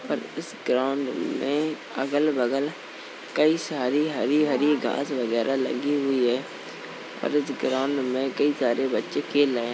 पर इस ग्राउन्ड में अगल-बगल कई सारी हरी-हरी घास वगैरह लगी हुई हैं। पर इस ग्राउन्ड में कई सारे बच्चे खेल रहे हैं।